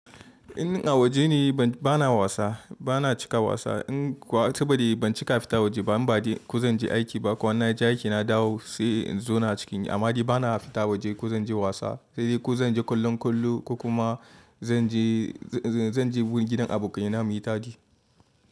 In a waje ne ba na wasa, ba na cika wasa. In kuwa sabo da ban cika fita waje ba, inba dai ku zan je aiki ba ko in naje aiki na dawo sai in zo na cikin yi. Amma dai ba na fita waje ko zan je wasa dai ko zan je kallon kwallo ko kuma zan je wurin gidan abokaina mu yi tadi.